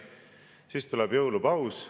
Siis tuleb jõulupaus.